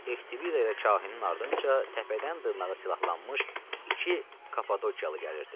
Ftibi də elə kahinin ardınca təpədən dırnağa silahlanmış iki kapadokyalı gəlirdi.